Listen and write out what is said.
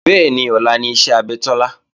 Bẹ́ẹ̀ni, ọlá ni iṣẹ́ abẹ Tọ́lá